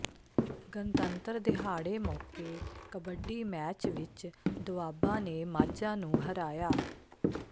ਗਣਤੰਤਰ ਦਿਹਾੜੇ ਮੌਕੇ ਕਬੱਡੀ ਮੈਚ ਵਿਚ ਦੋਆਬਾ ਨੇ ਮਾਝਾ ਨੂੰ ਹਰਾਇਆ